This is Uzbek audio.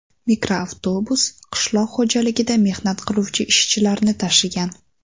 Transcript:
Mikroavtobus qishloq xo‘jaligida mehnat qiluvchi ishchilarni tashigan.